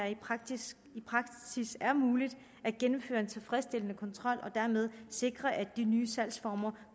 i praksis er muligt at gennemføre en tilfredsstillende kontrol og dermed sikre at de nye salgsformer